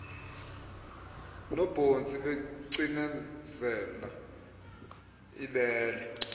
nobhontsi becinezela ibele